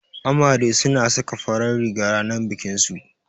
Amare suna saka farar riga ranar bikinsu